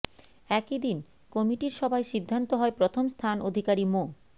একই দিন কমিটির সভায় সিদ্ধান্ত হয় প্রথম স্থান অধিকারী মো